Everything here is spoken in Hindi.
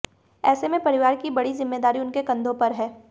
ऐसे में परिवार की बड़ी जिम्मेदारी उनके कंधों पर हैं